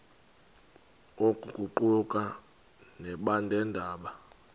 oku kuquka nabeendaba